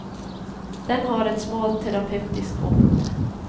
Den har ett smalt terapeutiskt område.